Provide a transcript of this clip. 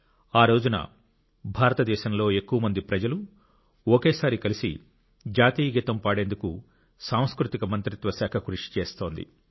ఆ రోజున భారతదేశంలో ఎక్కువ మంది ప్రజలు ఒకేసారి కలిసి జాతీయగీతం పాడేందుకు సాంస్కృతిక మంత్రిత్వ శాఖ కృషి చేస్తోంది